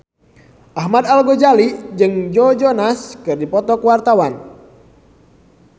Ahmad Al-Ghazali jeung Joe Jonas keur dipoto ku wartawan